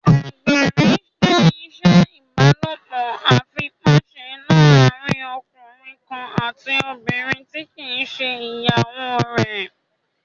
Àgbèrè jẹ́ ìṣe ìbálòpọ̀ àìfipáṣe láàrín ọkùnrin kan àti obìnrin tí kìí ṣe ìyàwó rẹ̀